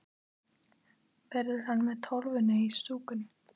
Verður hann með Tólfunni í stúkunni?